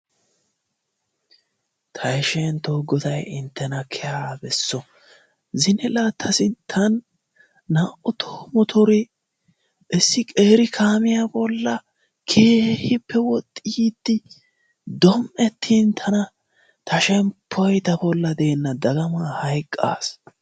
Tayshentto Goday inttena keeha besso! zine la ta sinttan naa''u toho motoree issi qeeri kaamiya bollaara keehippe woxxi yiide dom''ettin tana ta shemppoy ta bolla deena dagamman hayqqaas.